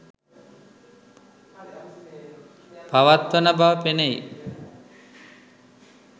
පවත්වන බව පෙනෙයි